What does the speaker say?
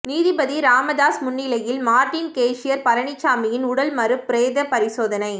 நீதிபதி ராமதாஸ் முன்னிலையில் Martin cashier பழனிச்சாமியின் உடல் மறு பிரேத பரிசோதனை